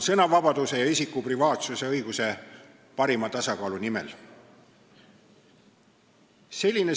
Sõnavabaduse ja isiku privaatsusõiguse parima tasakaalu nimel.